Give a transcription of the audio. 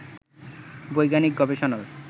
বৈজ্ঞানিক গবেষণার